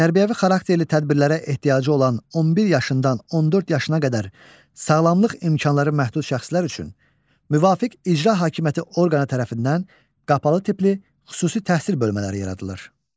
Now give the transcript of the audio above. Tərbiyəvi xarakterli tədbirlərə ehtiyacı olan 11 yaşından 14 yaşına qədər sağlamlıq imkanları məhdud şəxslər üçün müvafiq icra hakimiyyəti orqanı tərəfindən qapalı tipli xüsusi təhsil bölmələri yaradılır.